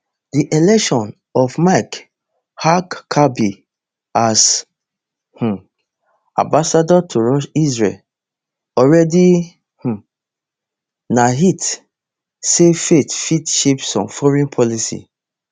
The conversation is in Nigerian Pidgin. di selection of mike huckabee as um ambassador to israel already um na hint say faith fit shape some foreign policy